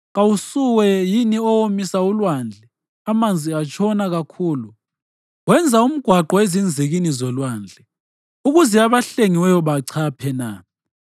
Kawusuwe yini owomisa ulwandle, amanzi atshona kakhulu, wenza umgwaqo ezinzikini zolwandle ukuze abahlengiweyo bachaphe na?